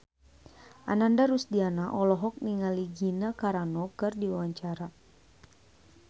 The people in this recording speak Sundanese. Ananda Rusdiana olohok ningali Gina Carano keur diwawancara